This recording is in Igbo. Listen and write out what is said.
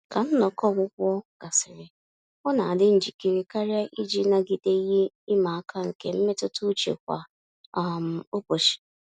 Ka nnọkọ ọgwụgwọ gasịrị, ọ na adị njikere karịa iji nagide ihe ịma aka nke mmetuta uche kwa um ụbọchị.